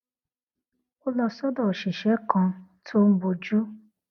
ó lọ sódò òṣìṣé kan tó ń bójú